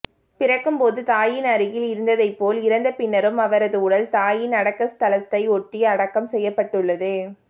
பிறக்கும்போது தாயின் அருகில் இருந்ததை போல் இறந்தபின்னரும் அவரது உடல் தாயின் அடக்க ஸ்தலத்தை ஒட்டி அடக்கம் செய்யப்பட்டுள்ளது